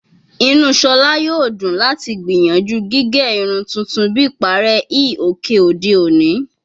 Inu Shola yoo dun lati gbiyanju gige irun tuntun bi ipare hi oke ode oni